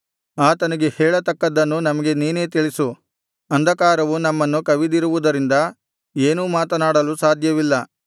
ಆತನಿಗೆ ಹೇಳತಕ್ಕದ್ದನ್ನು ನಮಗೆ ನೀನೇ ತಿಳಿಸು ಅಂಧಕಾರವು ನಮ್ಮನ್ನು ಕವಿದಿರುವುದರಿಂದ ಏನೂ ಮಾತನಾಡಲು ಸಾಧ್ಯವಿಲ್ಲ